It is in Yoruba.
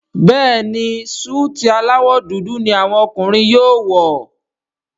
Béèni Súìtì alawọ dúdú ní àwọn ọkùnrin yóò wọ.